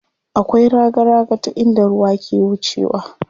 Akwai raga raga ta inda ruwa ke wucewa.